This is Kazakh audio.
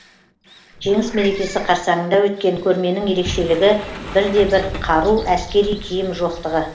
жеңіс мерекесі қарсаңында өткен көрменің ерекшелігі бір де бір қару әскери киім жоқтығы